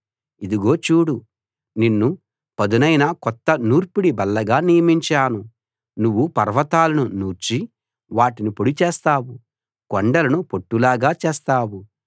ఇదిగో చూడు నిన్ను పదునైన కొత్త నూర్పిడి బల్లగా నియమించాను నువ్వు పర్వతాలను నూర్చి వాటిని పొడి చేస్తావు కొండలను పొట్టులాగా చేస్తావు